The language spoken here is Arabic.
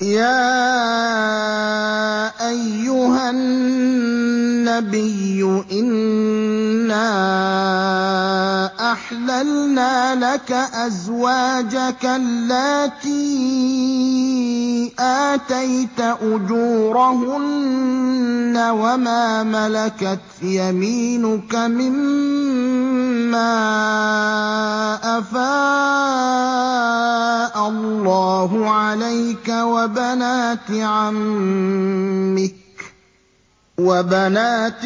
يَا أَيُّهَا النَّبِيُّ إِنَّا أَحْلَلْنَا لَكَ أَزْوَاجَكَ اللَّاتِي آتَيْتَ أُجُورَهُنَّ وَمَا مَلَكَتْ يَمِينُكَ مِمَّا أَفَاءَ اللَّهُ عَلَيْكَ وَبَنَاتِ عَمِّكَ وَبَنَاتِ